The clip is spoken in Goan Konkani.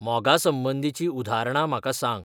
मोगासंबंदीचीं उद्धरणां म्हाका सांग